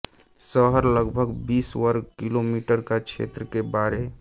शहर लगभग बीस वर्ग किलोमीटर का क्षेत्र के बारे